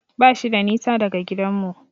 Bashi da nisa daga gidanmu.